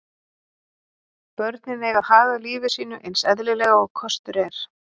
Börnin eiga að haga lífi sínu eins eðlilega og kostur er.